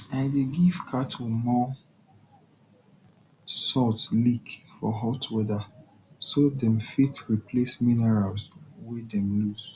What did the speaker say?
i dey give cattle more salt lick for hot weather so dem fit replace minerals wey dem lose